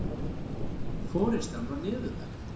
Forystan var niðurlægð